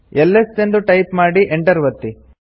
is ಎಂದು type ಮಾಡಿ enter ಒತ್ತಿ